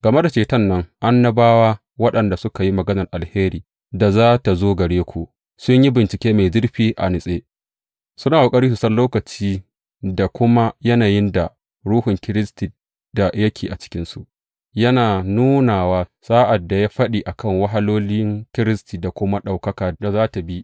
Game da ceton nan, annabawa, waɗanda suka yi maganar alherin da za tă zo gare ku, sun yi bincike mai zurfi, a natse, suna ƙoƙari su san lokaci da kuma yanayin da Ruhun Kiristi da yake cikinsu yana nunawa sa’ad da ya yi faɗi a kan wahalolin Kiristi da kuma ɗaukaka da za tă bi.